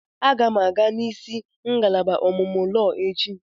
Aga m aga nisi ngalaba ọmụmụ lọọ echi.